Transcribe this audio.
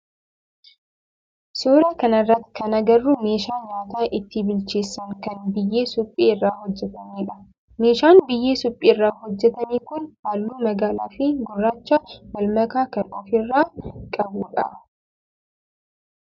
Suuraa kana irratti kan agarru meeshaa nyaata itti bilcheessan kan biyyee suphee irraa hojjetamedha. Meeshaan biyyee suphee irraa hojjetame kun halluu magaalaa fi gurraacha wal makaa kan of irraa qabudha.